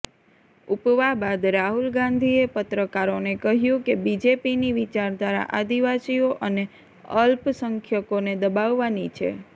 ઉપવા બાદ રાહુલ ગાંધીએ પત્રકારોને કહ્યું કે બીજેપીની વિચારધારા આદિવાસીઓ અને અલ્પસંખ્યકોને દબાવવાની છે